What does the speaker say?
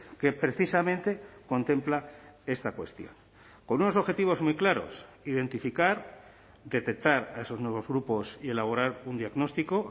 que precisamente contempla esta cuestión con unos objetivos muy claros identificar detectar a esos nuevos grupos y elaborar un diagnóstico